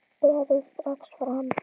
Berið strax fram.